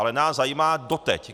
Ale nás zajímá doteď.